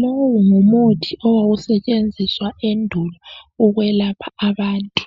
Lowu ngumuthi owawusetshenziswa endulo ukwelapha abantu